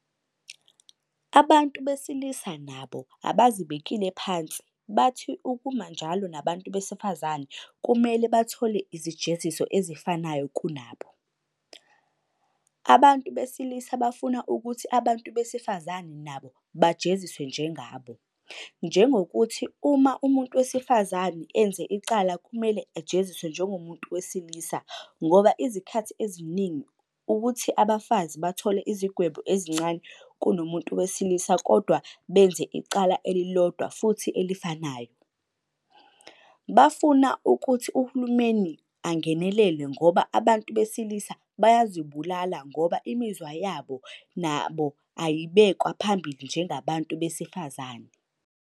Abantu besilisa nabo abazibekile phansi bathi ukuma kunjalo nabantu besifazane kumele bathole izijeziso ezifanayo kunabo. Abantu besilisa bafuna ukuthi abantu besifazane nabo bajeziswe njengabo, Njengokuthi uma umuntu wesifazane enze icala kumele ajeziswe njengomuntu wesilisa ngoba izikhathi eziningi ukuthi abantu besifazane bathola izigwebo ezincane kunomuntu webesilisa kodwa benze icala elilodwa futhi elifanayo. Bafuna ukuthi uhulumeni angenelele ngoba abantu besilisa bayazibulala ngoba imizwa yabo nabo ayibekwa phambili njengabantu besifazane.